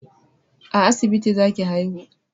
A asibiti za ki haihu!